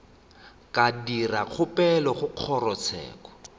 ka dira kgopelo go kgorotsheko